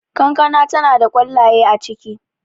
kankana tana da kwallaye a ciki